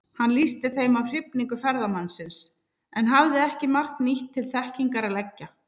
Hann lýsti þeim af hrifningu ferðamannsins, en hafði ekki margt nýtt til þekkingar að leggja.